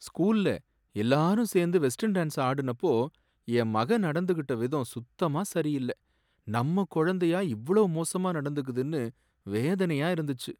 ஸ்கூல்ல எல்லாரும் சேர்ந்து வெஸ்டர்ன் டான்ஸ் ஆடுனப்போ என் மக நடந்துக்கிட்ட விதம் சுத்தமா சரியில்ல. நம்ம குழந்தையா இவ்வளவு மோசமா நடந்துக்குதுனு வேதனையா இருந்துச்சு.